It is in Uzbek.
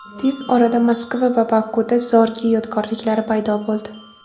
Tez orada Moskva va Bokuda Zorge yodgorliklari paydo bo‘ldi.